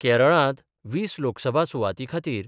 केरळांत वीस लोकसभा सुवाती खातीर